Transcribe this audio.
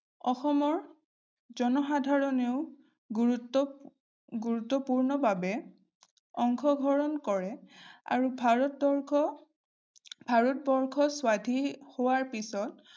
অসমৰ জনসাধাৰণেও গুৰুত্ব গুৰুত্বপূৰ্ণভাৱে অংশ গ্ৰহণ কৰে আৰু ভাৰতবৰ্ষ ভাৰতবৰ্ষ স্বাধীন হোৱাৰ পিছত